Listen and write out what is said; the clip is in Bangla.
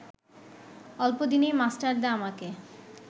অল্পদিনেই মাস্টারদা আমাকে